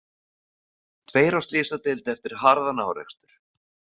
Tveir á slysadeild eftir harðan árekstur